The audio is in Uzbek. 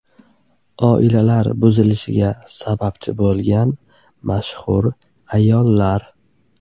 Oilalar buzilishiga sababchi bo‘lgan mashhur ayollar .